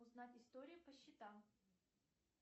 узнать историю по счетам